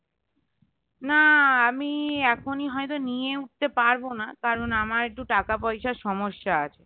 না আমি এখনই হয়তো নিয়ে উঠতে পারবো না কারণ আমার একটু টাকা পয়সার সমস্যা আছে